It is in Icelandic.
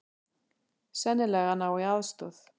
Sennilega að ná í aðstoð.